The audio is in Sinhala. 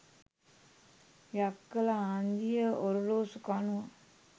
යක්කල හන්දියේ ඔරලෝසු කනුව